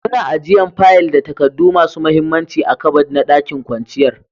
Muna ajian fayil da takadu masun muhimmanci a'kabad na ɗakin kwanciyar